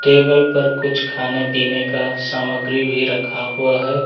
Table पर कुछ खाने पीने का सामग्री भी रखा हुआ है।